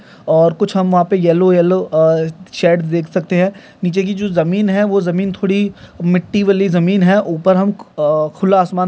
और कुछ हम वहां पे येल्लो-येल्लो अ शेड देख सकते है नीचे की जो जमीन है वो जमीन थोड़ी मिट्टी वाली जमीन है ऊपर हम अ खुला आसमान